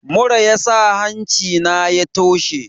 Mura yasa hancina ya toshe.